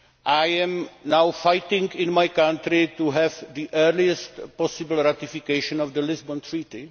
I am now fighting in my country for the earliest possible ratification of the Lisbon Treaty.